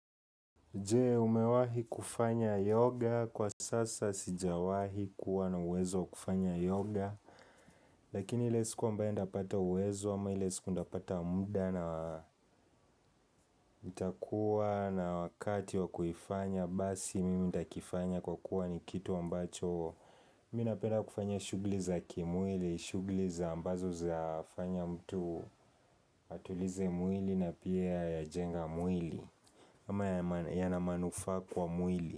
Jee umewahi kufanya yoga kwa sasa sijawahi kuwa na uwezo wa kufanya yoga Lakini ile siku ambae nitapata uwezo ama ile siku nitapata muda na itakuwa na wakati wa kuifanya Basi mimi ndakifanya kwa kuwa ni kitu ambacho Mi napenda kufanya shugli za kimwili, shugli za ambazo zafanya mtu atulize mwili na pia yajenga mwili ama yana manufa kwa mwili.